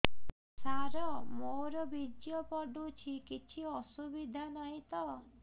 ସାର ମୋର ବୀର୍ଯ୍ୟ ପଡୁଛି କିଛି ଅସୁବିଧା ନାହିଁ ତ